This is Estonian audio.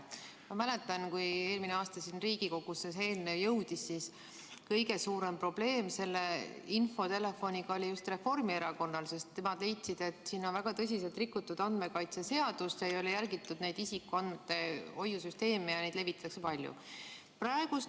Ma mäletan, kui eelmisel aastal see eelnõu siia Riigikokku jõudis, siis kõige suurem probleem selle infotelefoniga oli just Reformierakonnal, sest nemad leidsid, et siin on väga tõsiselt rikutud andmekaitseseadust, ei ole järgitud isikuandmete hoidmise süsteemi ja neid levitatakse.